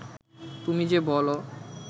তুমি যে বল